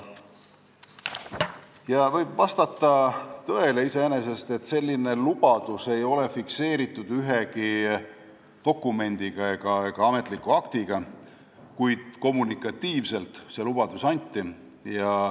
Iseenesest võib vastata tõele, et selline lubadus ei ole fikseeritud ühegi dokumendi ega ametliku aktiga, kuid kommunikatiivselt see lubadus anti.